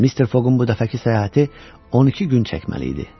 Mister Foqun bu dəfəki səyahəti 12 gün çəkməli idi.